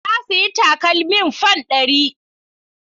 Na sayi takalmin fan ɗari.